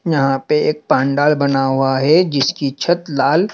यहां पे एक पांडाल बना हुआ है जिसकी छत लाल--